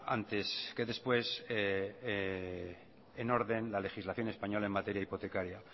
antes que después en orden la legislación española en materia hipotecaria